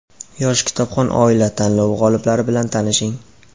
"Yosh kitobxon oila" tanlovi g‘oliblari bilan tanishing:.